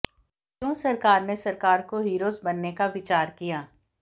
क्यों सरकार ने सरकार को हीरोज बनने का विचार किया